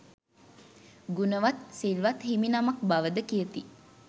ගුණවත් සිල්වත් හිමිනමක් බවද කියති.